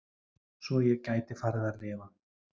Svo ég gæti farið að lifa.